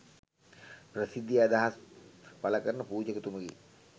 ප්‍රසිද්ධියේ අදහස් පළ කරන පුජකතුමෙකි